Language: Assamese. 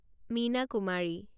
মীনা কুমাৰী